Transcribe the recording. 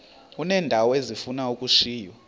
uneendawo ezifuna ukushiywa